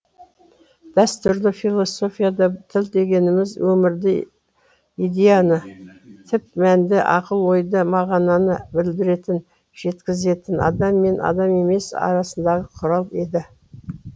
дәстүрлі философияда тіл дегеніміз өмірді идеяны түп мәнді ақыл ойды мағынаны білдіретін жеткізетін адам мен адам емес арасындағы құрал еді